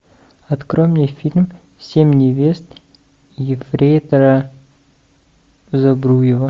открой мне фильм семь невест ефрейтора збруева